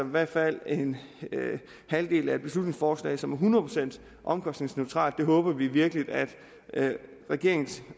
i hvert fald en halvdel af et beslutningsforslag som er hundrede procent omkostningsneutralt det håber vi virkelig at regeringen